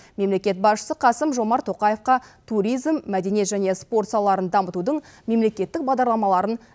мемлекет басшысы қасым жомарт тоқаевқа туризм мәдениет және спорт салаларын дамытудың мемлекеттік бағдарламаларын